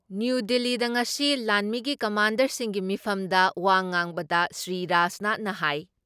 new ꯗꯤꯜꯂꯤꯗ ꯉꯁꯤ ꯂꯥꯟꯃꯤꯒꯤ ꯀꯝꯃꯥꯟꯗꯔꯁꯤꯡꯒꯤ ꯃꯤꯐꯝꯗ ꯋꯥ ꯉꯥꯡꯕꯗ ꯁ꯭ꯔꯤꯔꯥꯖꯅꯥꯊ ꯍꯥꯏ